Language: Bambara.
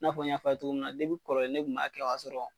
I n'a fɔ n y'a fɔ a ye cogoyamin na kɔrɔlen ne kun b'a kɛ ka sɔrɔ.